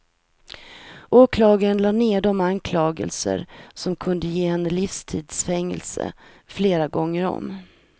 Åklagaren lade ned de anklagelser som kunde ge henne livstids fängelse flera gånger om.